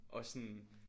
Og sådan